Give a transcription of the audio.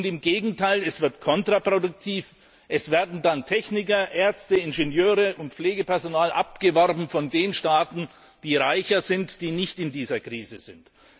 Im Gegenteil Es wird kontraproduktiv, es werden dann Techniker, Ärzte, Ingenieure und Pflegepersonal abgeworben von den Staaten, die reicher sind, die nicht in dieser Krise sind.